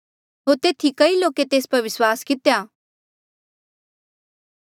होर तेथी कई लोके तेस पर विस्वास कितेया